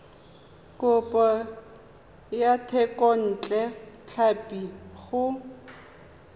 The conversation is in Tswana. kopo ya thekontle tlhapi go